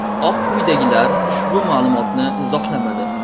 Oq uydagilar ushbu ma’lumotni izohlamadi.